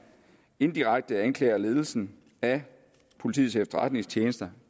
indirekte anklager ledelsen af politiets efterretningstjeneste